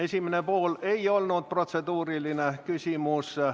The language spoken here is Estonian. Esimene pool ei olnud protseduuriline küsimus.